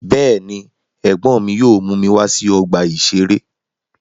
Bẹ́ẹ̀ ni, ẹ̀gbọ́n mi yóò mú mi wá sí ọgbà-ìṣeré.